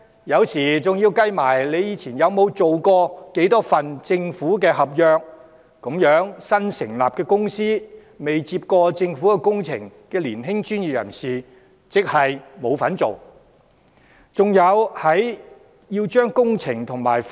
有時在評審時，還要計算投標者過去曾承接多少份政府合約，這樣新成立的公司，未承接過政府工程的年輕專業人士根本沒機會參與投標。